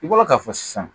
I bɔra k'a fɔ sisan